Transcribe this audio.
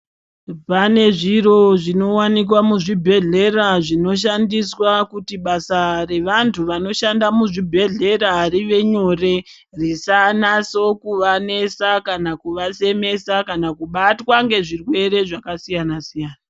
Pane zviro zvinowanikwa muzvibhedhlera zvinoshandiswa kuti basa revantu vanoshanda muzvibhedhlera rive nyore, risanasokuvanesa, kana kuvasemesa kana kubatwa ngezvirwere zvakasiyana-siyana.